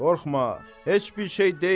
Qorxma, heç bir şey deyil.